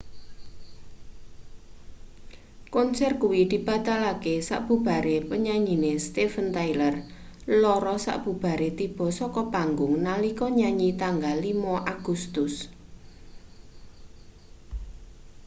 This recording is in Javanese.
konser kuwi dibatalke sabubare penyanyine steven tyler lara sabubare tiba saka panggung nalika nyanyi tanggal 5 agustus